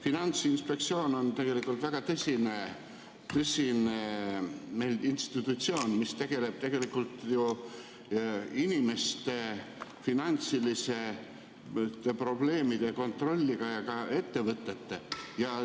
Finantsinspektsioon on tegelikult meil väga tõsine institutsioon, mis tegeleb tegelikult ju inimeste finantsiliste probleemide kontrollimisega ja ka ettevõtete kontrollimisega.